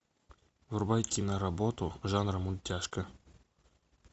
врубай киноработу жанр мультяшка